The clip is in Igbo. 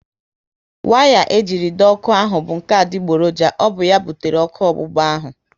Waya e jiri dọọ ọkụ ahụ bụ nke adigboroja, ọ bụ ya butere ọkụ ọgbụgba ahu